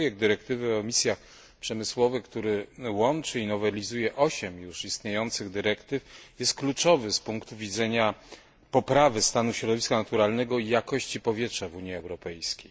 Projekt dyrektywy o emisjach przemysłowych, który łączy i nowelizuje osiem już istniejących dyrektyw, jest kluczowy z punktu widzenia poprawy stanu środowiska naturalnego i jakości powietrza w Unii Europejskiej.